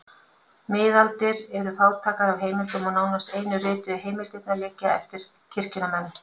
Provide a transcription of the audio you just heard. Miðaldir eru fátækar af heimildum og nánast einu rituðu heimildirnar liggja eftir kirkjunnar menn.